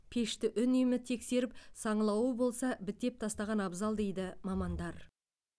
пешті үнемі тексеріп саңылауы болса бітеп тастаған абзал дейді мамандар